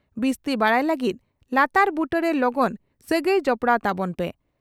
ᱵᱤᱥᱛᱤ ᱵᱟᱰᱟᱭ ᱞᱟᱹᱜᱤᱫ ᱞᱟᱛᱟᱨ ᱵᱩᱴᱟᱹᱨᱮ ᱞᱚᱜᱚᱱ ᱥᱟᱹᱜᱟᱹᱭ ᱡᱚᱯᱲᱟᱣ ᱛᱟᱵᱚᱱ ᱯᱮ ᱾